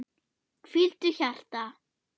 Hvíldu, hjarta.